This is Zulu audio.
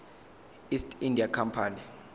east india company